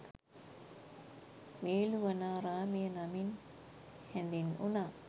වේළුවනාරාමය නමින් හැඳින්වුනා